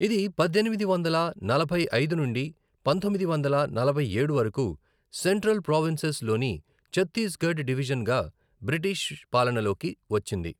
ఇది పద్దెనిమిది వందల నలభై ఐదు నుండి పంతొమ్మిది వందల నలభై ఏడు వరకు సెంట్రల్ ప్రావిన్సెస్ లోని ఛత్తీస్గఢ్ డివిజన్గా బ్రిటిష్ పాలనలోకి వచ్చింది.